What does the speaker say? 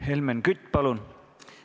Helmen Kütt, palun!